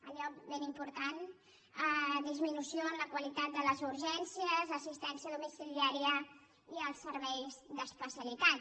allò ben important disminució en la qualitat de les urgències assistència domiciliària i els serveis d’especialitat